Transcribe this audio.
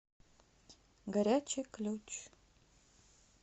горячий ключ